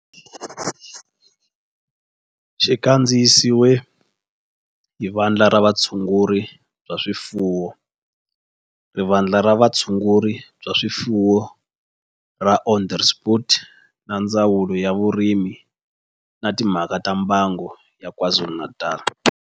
Xi kandziyisiwe hi Vandla ra Vutshunguri bya swifuwo ra Vandla ra Vutshunguri bya swifuwo ra Onderstepoort na Ndzawulo ya Vurimi na Timhaka ta Mbango ya KwaZulu-Natal